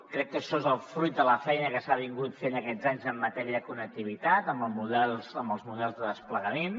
crec que això és el fruit de la feina que s’ha fet aquests anys en matèria de connectivitat amb els models de desplegament